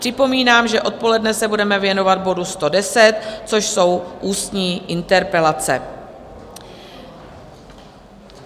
Připomínám, že odpoledne se budeme věnovat bodu 110, což jsou ústní interpelace.